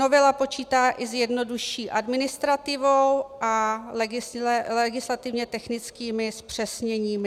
Novela počítá i s jednodušší administrativou a legislativně technickými zpřesněními.